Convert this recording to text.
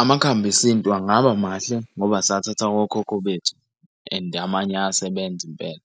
Amakhambi esintu angaba mahle ngoba sathatha awokhokho bethu and amanye ayasebenza impela.